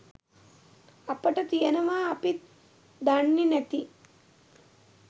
අපට තියෙනවා අපිත් දන්නෙ නැති.